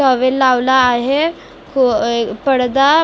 towel लावला आहे पडदा --